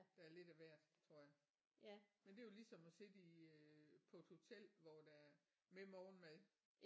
Der er lidt af hvert tror jeg men det er jo ligesom at sidde i øh på et hotel hvor der er med morgenmad